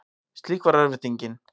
Slík var örvæntingin.